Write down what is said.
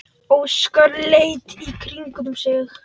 Óskar leit í kringum sig.